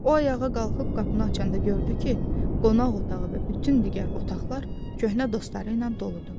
O ayağa qalxıb qapını açanda gördü ki, qonaq otağı və bütün digər otaqlar köhnə dostları ilə doludur.